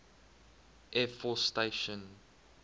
air force station